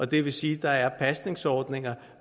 det vil sige at der er pasningsordninger